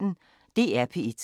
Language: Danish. DR P1